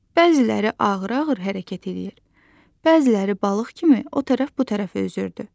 Bəziləri ağır-ağır hərəkət eləyir, bəziləri balıq kimi o tərəf bu tərəfə üzürdü.